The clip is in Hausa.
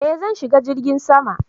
Eh zan shiga jirgin sama